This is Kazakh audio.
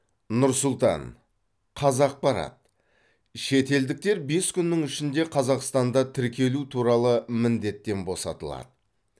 нұр сұлтан қазақпарат шетелдіктер бес күннің ішінде қазақстанда тіркелу туралы міндеттен босатылады